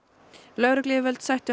lögregluyfirvöld sættu